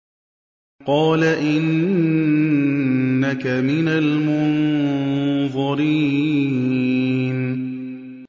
قَالَ إِنَّكَ مِنَ الْمُنظَرِينَ